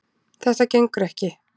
Þetta gengur ekki